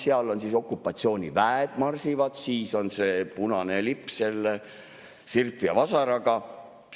Seal on okupatsiooniväed, marsivad, siis on see punane lipp sirbi ja vasaraga.